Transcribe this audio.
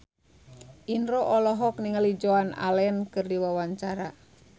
Indro olohok ningali Joan Allen keur diwawancara